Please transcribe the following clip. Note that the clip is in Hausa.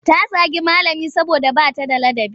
Ta zagi malami saboda ba ta da ladabi.